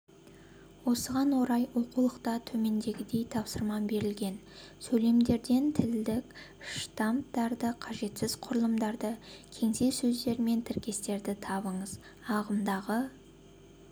осыған орай оқулықта төмендегідей тапсырма берілген сөйлемдерден тілдік штамптарды қажетсіз құрылымдарды кеңсе сөздері мен тіркестерін табыңыз ағымдағы